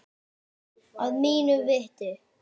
Að mínu viti.